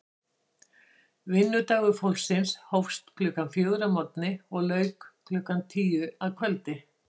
Vinnudagur fólksins hófst klukkan fjögur að morgni og lauk klukkan tíu að kvöldi.